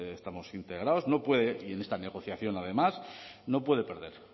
estamos integrados no puede y en esta negociación además no puede perder